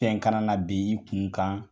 Fɛn ka na na bin i kun kan